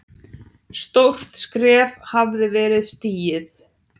Stórt skref hafði verið stigið.